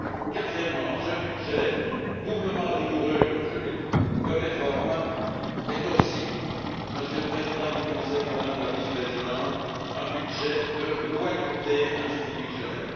Quatrièmement, ce budget de réforme doublement rigoureux, comme je l'ai dit, est aussi, Monsieur le Président du Conseil, Madame la Vice présidente, un budget de loyauté institutionnelle.